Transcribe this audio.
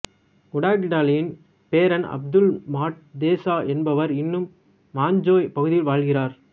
உடா கிடாலின் பேரன் Abdul Mat Desa என்பவர் இன்னும் மஞ்சோய் பகுதியில் வாழ்கிறார்